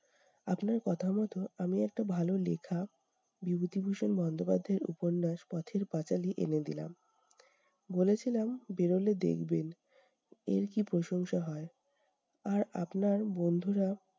আপনার কথা মতো আমি একটা ভালো লিখা বিভূতিভূষণ বন্দ্যোপাধ্যায় এর উপন্যাস পথের-পাঁচালি এনে দিলাম। বলেছিলাম বেরোলে দেখবেন, এর কি প্রশংসা হয়। আর আপনার বন্ধুরা